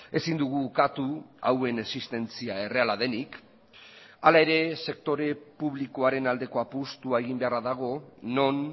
ezin dugu ukatu hauen existentzia erreala denik hala ere sektore publikoaren aldeko apustua egin beharra dago non